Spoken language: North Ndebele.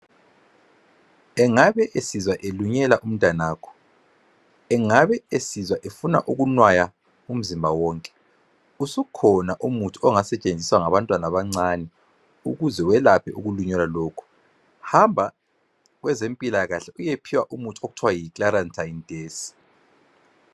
Engabe esizwa elunyelwa umntanakho? Angabe esizwa efuna ukwenaya umzimba wonke? Usukhona umuthi ongasetshenziswa ngabantwana abancane, ukuze weoaphe ukulunywa lokho. Hamba kwabezempilakahle, uyephiwa umuthi okuthiwa yiClaratyneDES.